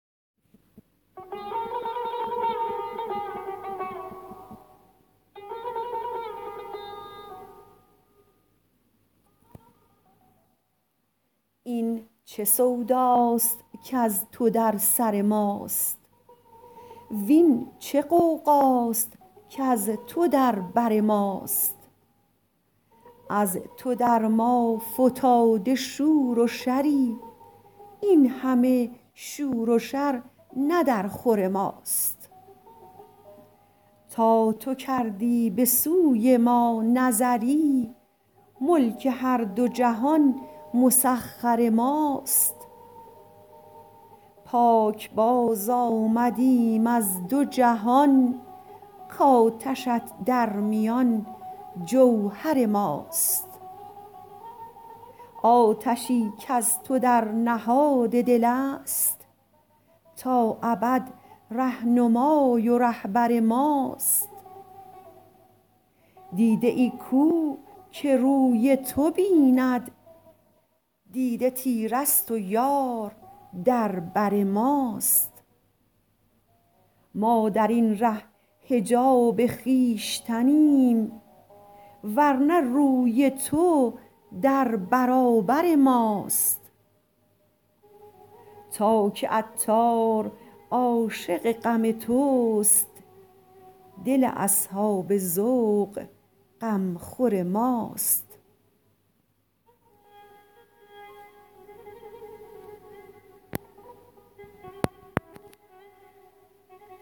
این چه سوداست کز تو در سر ماست وین چه غوغاست کز تو در بر ماست از تو در ما فتاده شور و شری این همه شور و شر نه در خور ماست تا تو کردی به سوی ما نظری ملک هر دو جهان مسخر ماست پاکباز آمده ایم از دو جهان کاتش ات در میان جوهر ماست آتشی کز تو در نهاد دل است تا ابد رهنمای و رهبر ماست دیده ای کو که روی تو بیند دیده تیره است و یار در بر ماست ما درین ره حجاب خویشتنیم ورنه روی تو در برابر ماست تا که عطار عاشق غم توست دل اصحاب ذوق غمخور ماست